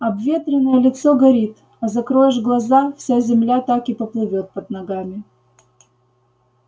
обветренное лицо горит а закроешь глаза вся земля так и поплывёт под ногами